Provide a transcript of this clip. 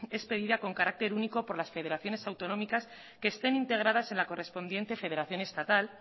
expedida con carácter único por las federaciones autonómicas que estén integradas en la correspondiente federación estatal